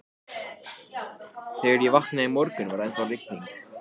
Jóhanna Sigurðardóttir Hver er uppáhaldsstaðurinn þinn í öllum heiminum?